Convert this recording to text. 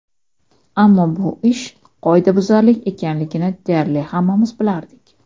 Ammo bu ish qoidabuzarlik ekanligini deyarli hammamiz bilardik.